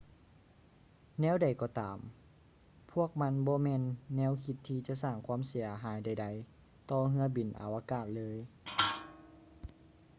ແນວໃດກໍຕາມ ພວກມັນບໍ່ແມ່ນແນວຄິດທີ່ຈະສ້າງຄວາມເສຍຫາຍໃດໆຕໍ່ເຮືອບິນອາວະກາດເລີຍ